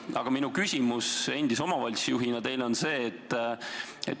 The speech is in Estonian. Aga minu küsimus endise omavalitsusjuhina teile on see.